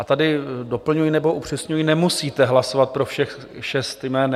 A tady doplňuji nebo upřesňuji: nemusíte hlasovat pro všech šest jmen.